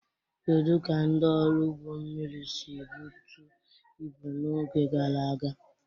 Kedu ka ndị ọrụ ụgbọ mmiri si ebutu ibu n'oge gara aga?